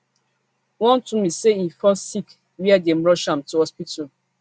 wontumi say im fall sick wia dem rush am to hospital